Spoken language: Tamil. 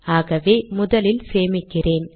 ஆகவே முதலில் சேமிக்கிறேன்